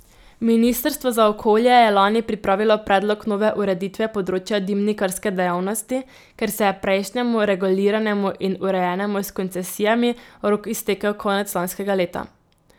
Ministrstvo za okolje je lani pripravilo predlog nove ureditve področja dimnikarske dejavnosti, ker se je prejšnjemu, reguliranemu in urejenemu s koncesijami, rok iztekel konec lanskega leta.